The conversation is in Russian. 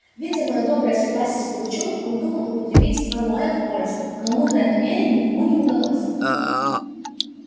видя моё доброе согласие с пугачёвым он думал употребить оное в пользу но мудрое намерение ему не удалось